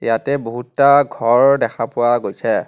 ইয়াতে বহুতটা ঘৰ দেখা পোৱা গৈছে.